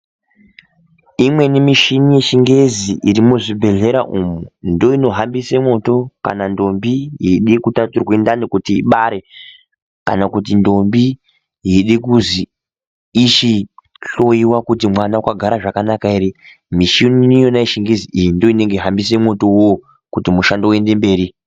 Imweni mishini yechingezi ,iri muzvibhedhlera umu, ndoinohambiswa kana ndombi yeide kutaturwe ndani kuti ibare, kana kuti ndombi yeide kuzi ichihloiwa kuti mwana wakagara zvakanaka ere. Mishini iyona yechingezi iyi ndiyo inohambise mwoto uwowo kuti mishando uende mberi.